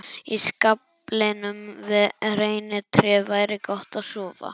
Í skaflinum við reynitréð væri gott að sofa.